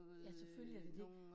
Ja, selvfølgelig er det det